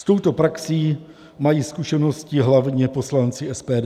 S touto praxí mají zkušenosti hlavně poslanci SPD.